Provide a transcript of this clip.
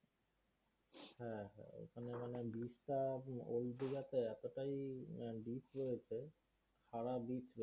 হ্যাঁ এখানে মানে beach টা old দীঘাতে এতটাই deep রয়েছে সারা beach